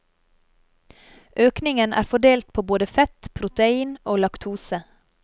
Økningen er fordelt på både fett, protein og laktose.